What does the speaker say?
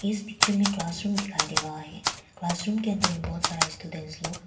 इस पिक्चर में class room दिखाई दे रहा है क्लासरूम के अंदर बहुत सारा स्टूडेंट लोग--